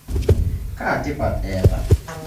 Kaa tipat eta?